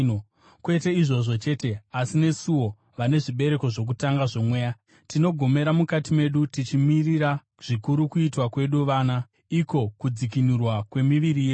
Kwete izvozvo chete, asi nesuwo, vane zvibereko zvokutanga zvoMweya, tinogomera mukati medu tichimirira zvikuru kuitwa kwedu vana, iko kudzikinurwa kwemiviri yedu.